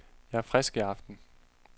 Jeg er frisk i aften.